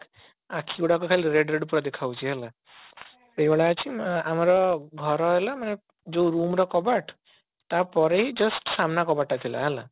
ଆଖି ଗୁଡାକ ଖାଲି red red ପୁରା ଦେଖା ଯାଉଛି ହେଲା ଆମର ଘର ହେଲା ମାନେ ଯୋଉ room ର କବାଟ ତାପରେ ହିଁ just ସାନ କବାଟ ଟା ଥିଲା ହେଲା